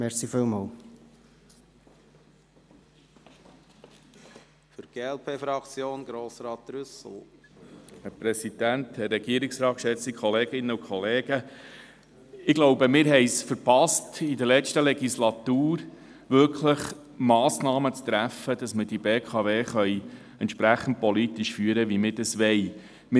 Ich glaube, wir haben es in der letzten Legislatur verpasst, wirklich Massnahmen zu treffen, damit wir die BKW politisch so führen können, wie wir es wollen.